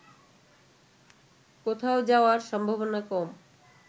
কোথাও যাওয়ার সম্ভাবনা কম